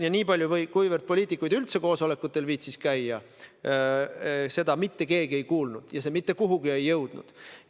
Ja niipalju kui poliitikud üldse koosolekutel viitsisid käia, seda mitte keegi ei kuulnud ja see teema mitte kuhugi jõudnud.